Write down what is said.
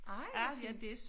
Ej hvor fint